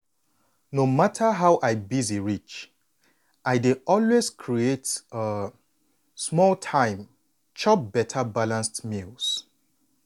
no matter how i busy reach i dey always create um small time chop beta balanced meals.